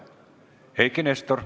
Eiki Nestor.